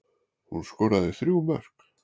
Hún skoraði þrjú mörk